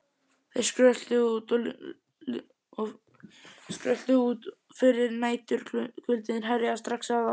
Þeir skröltu út fyrir og næturkuldinn herjaði strax á þá.